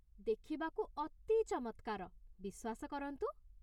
ଦେଖିବାକୁ ଅତି ଚମତ୍କାର, ବିଶ୍ୱାସ କରନ୍ତୁ ।